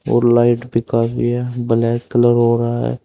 और लाइट भी काफी है ब्लैक कलर हो रहा है।